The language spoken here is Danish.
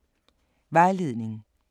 Vejledning: